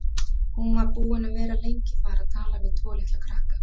Hún var búin að vera lengi þar að tala við tvo litla krakka.